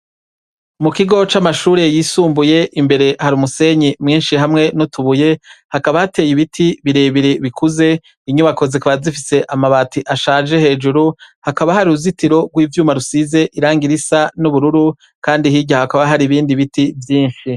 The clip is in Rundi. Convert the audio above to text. Mu kigo c'amashure yisumbuye, imbere hari umusenyi mwinshi hamwe n'utubuye. Hakaba hateye ibiti birebire bikuze. Inyubako zikaba zifise amabati ashaje hejuru, hakaba hari uruzitiro rw'ivyuma rusize irangi risa n'ubururu kandi hirya hakaba hari ibindi biti vyinshi.